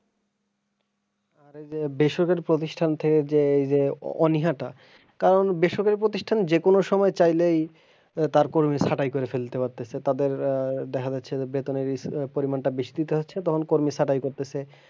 আর এইযে বেসরকারি প্রতিষ্ঠান থেকে যে অনিহাটা কারন বেসরকারি প্রতিষ্ঠান যেকোনো সময়ে চাইলে তার কর্মি ছাঁটাই করে ফেলতে পারতিছে তাদের আহ দেখা যাচ্ছে যে বেতনের পরিমানটা বেশি দিতে হচ্ছে তখন কর্মি ছাঁটাই করতেছে।